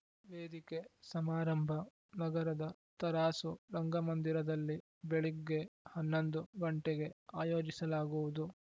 ವೇದಿಕೆ ಸಮಾರಂಭ ನಗರದ ತರಾಸು ರಂಗಮಂದಿರದಲ್ಲಿ ಬೆಳಗ್ಗೆ ಹನ್ನೊಂದು ಗಂಟೆಗೆ ಆಯೋಜಿಸಲಾಗುವುದು